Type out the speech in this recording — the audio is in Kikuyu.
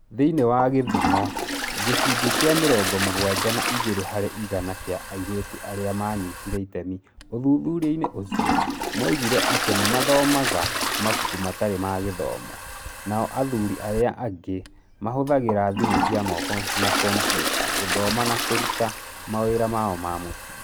Thĩinĩ wa gĩthumo, gĩcunjĩ kĩa mĩrongo mũgwaja na igĩrĩ harĩ igana kĩa airĩtu arĩa maanyitire itemi ũthuthuria-inĩ ũcio, moigire atĩ nĩ mathomaga mabuku matarĩ ma gĩthomo, nao athuri arĩa angĩ mahũthagĩra thimũ cia moko na kompiuta gũthoma na kũruta mawĩra mao ma mũciĩ.